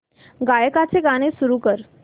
गायकाचे गाणे सुरू कर